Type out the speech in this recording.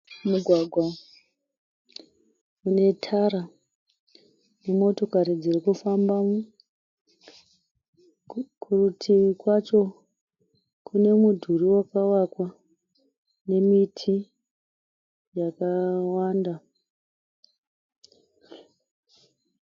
Mugwagwa une tara nemotokari dziri kufamba, kurutivi kwacho kune mudhuri wakavakwa nemiti yakawanda